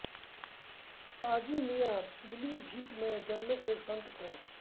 शाहजी मियां पीलीभीत में जन्मे एक संत थे